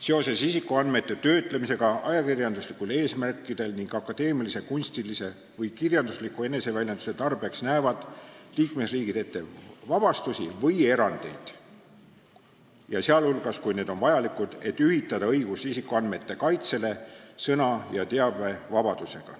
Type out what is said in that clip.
Seoses isikuandmete töötlemisega ajakirjanduslikel eesmärkidel ning akadeemilise, kunstilise või kirjandusliku eneseväljenduse tarbeks näevad liikmesriigid ette vabastusi või erandeid, sh siis, kui need on vajalikud, et ühitada õigus isikuandmete kaitsele sõna- ja teabevabadusega.